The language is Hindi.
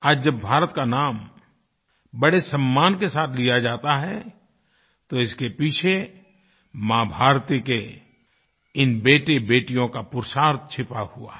आज जब भारत का नाम बड़े सम्मान के साथ लिया जाता है तो इसके पीछे माँभारती के इन बेटेबेटियों का पुरुषार्थ छुपा हुआ है